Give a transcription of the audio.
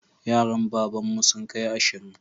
Yaran babanmu sun kai ashirin